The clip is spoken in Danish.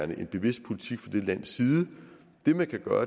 det er en bevidst politik fra de landes side det man kan gøre